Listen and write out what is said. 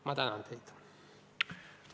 Ma tänan teid!